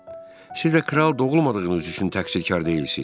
Siz də kral doğulmadığınız üçün təqsirkar deyilsiniz.